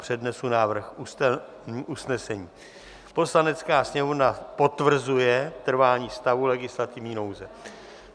Přednesu návrh usnesení: "Poslanecká sněmovna potvrzuje trvání stavu legislativní nouze."